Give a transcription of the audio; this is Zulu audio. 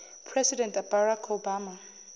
president barack obama